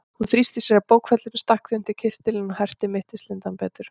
Hún þrýsti að sér bókfellinu, stakk því inn undir kyrtilinn og herti mittislindann betur.